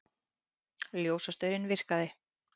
Ljósastaurinn virkaði